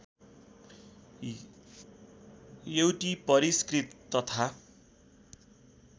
एउटी परिस्कृत तथा